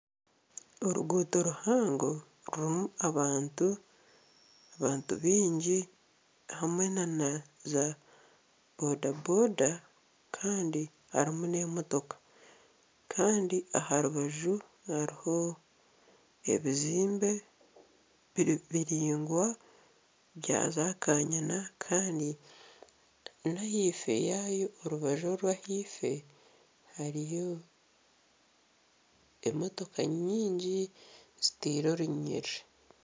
Oruguuto ruhango rurimu abantu abantu baingi hamwe nana za boda boda kandi harimu n'emotoka kandi arubaju hariho ebizimbe biringwa bya zakanyina kandi na ahaifo yaayo orubaju orw'ahaifo hariyo emotoka nyingi zitaire orunyiriri